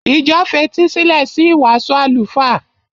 Ìjọ fetísílẹ̀ sí ìwàásù àlùfáà.